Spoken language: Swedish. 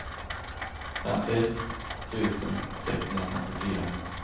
femtioett tusen sexhundrafemtiofyra